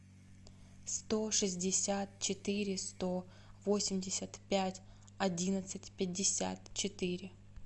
сто шестьдесят четыре сто восемьдесят пять одиннадцать пятьдесят четыре